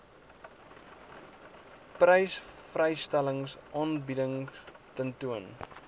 persvrystellings aanbiedings tentoon